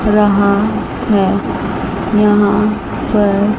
रहा है यहां पर--